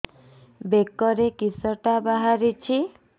ବେକରେ କିଶଟା ବାହାରିଛି